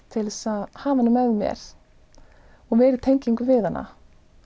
til að hafa hana með mér og meiri tengingu við hana